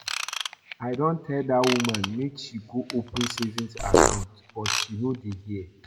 I don tell dat woman make she go open saving account but she no dey hear